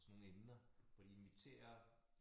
Og sådan nogle emner hvor de inviterer